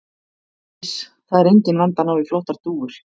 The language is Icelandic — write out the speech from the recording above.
Iss. það er enginn vandi að ná í flottar dúfur.